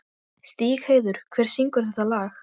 Stígheiður, hver syngur þetta lag?